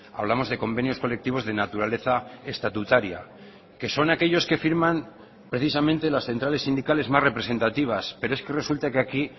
hablamos de convenios colectivos de naturaleza estatutaria que son aquellos que firman precisamente las centrales sindicales más representativas pero es que resulta que aquí